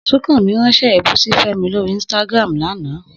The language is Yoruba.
Súnkànmí ránṣẹ́ èébú sí Fẹ́mi lórí Instagram lánàá